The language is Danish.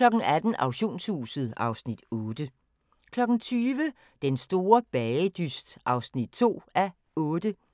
18:00: Auktionshuset (Afs. 8) 20:00: Den store bagedyst (2:8)